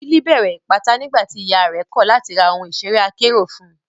Billy bẹ̀rẹ̀ Ìpátá nígbà tí ìyà rẹ̀ kọ̀ láti ra ohun ìṣeré akérò fún un.